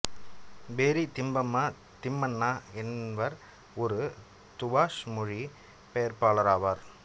பேரி திம்மப்பா திம்மண்ணா என்வர் ஒரு துபாஷ் மொழிப்பெயர்ப்பாளர் ஆவார்